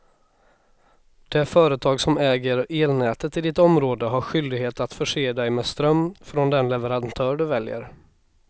Det företag som äger elnätet i ditt område har skyldighet att förse dig med ström från den leverantör du väljer.